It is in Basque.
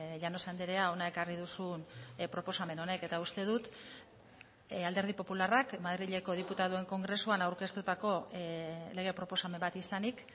llanos andrea hona ekarri duzun proposamen honek eta uste dut alderdi popularrak madrileko diputatuen kongresuan aurkeztutako lege proposamen bat izanik